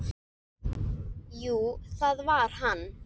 Jú, það var hann!